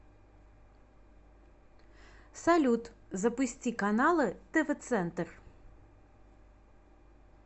салют запусти каналы тв центр